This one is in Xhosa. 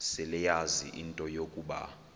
seleyazi into yokuba